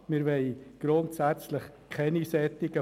Wir wollen solche Fonds grundsätzlich nicht.